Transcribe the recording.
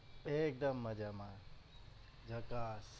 એક દમ મજામાં જકાસ